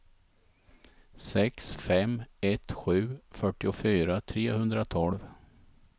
sex fem ett sju fyrtiofyra trehundratolv